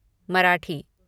Marathi